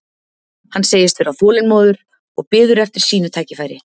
Hann segist vera þolinmóður og biður eftir sínu tækifæri.